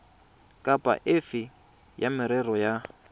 kapa efe ya merero ya